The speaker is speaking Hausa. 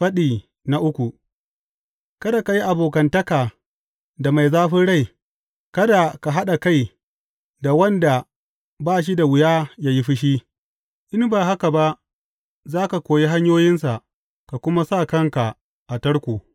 Faɗi uku Kada ka yi abokantaka da mai zafin rai, kada ka haɗa kai da wanda ba shi da wuya ya yi fushi, in ba haka ba za ka koyi hanyoyinsa ka kuma sa kanka a tarko.